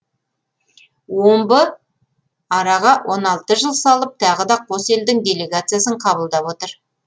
омбы араға он алты жыл салып тағы да қос елдің делегациясын қабылдап отыр